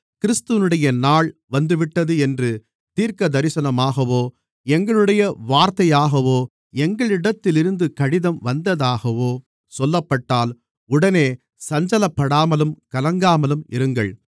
கிறிஸ்துவினுடைய நாள் வந்துவிட்டது என்று தீர்க்கதரிசனமாகவோ எங்களுடைய வார்த்தையாகவோ எங்களிடத்திலிருந்து கடிதம் வந்ததாகவோ சொல்லப்பட்டால் உடனே சஞ்சலப்படாமலும் கலங்காமலும் இருங்கள்